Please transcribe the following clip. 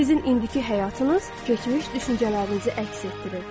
Sizin indiki həyatınız keçmiş düşüncələrinizi əks etdirir.